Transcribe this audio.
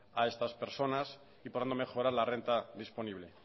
a estas persona y por lo tanto mejorar la renta disponible